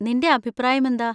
നിന്‍റെ അഭിപ്രായമെന്താ?